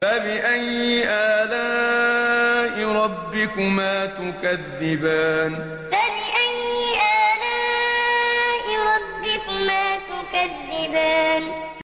فَبِأَيِّ آلَاءِ رَبِّكُمَا تُكَذِّبَانِ فَبِأَيِّ آلَاءِ رَبِّكُمَا تُكَذِّبَانِ